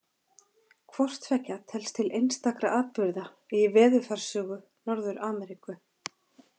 Hvort tveggja telst til einstakra atburða í veðurfarssögu Norður-Ameríku.